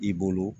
I bolo